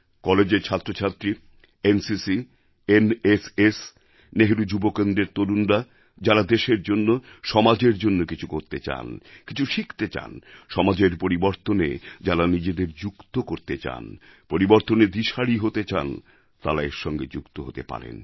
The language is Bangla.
কলেজের ছাত্রছাত্রী এনসিসি এনএসএস নেহরু যুবকেন্দ্রের তরুণরা যাঁরা দেশের জন্য সমাজের জন্য কিছু করতে চান কিছু শিখতে চান সমাজের পরিবর্তনে যাঁরা নিজেদের যুক্ত করতে চান পরিবর্তনের দিশারী হতে চান তাঁরা এর সঙ্গে যুক্ত হতে পারেন